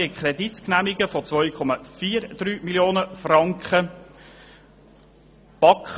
Wir haben einen Kredit von 2,43 Mio. Franken zu genehmigen.